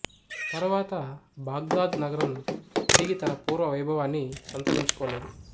తరువాత బాగ్దాద్ నగరం తిరిగి తన పూర్వ వైభవాన్ని సంతరించుకోలేదు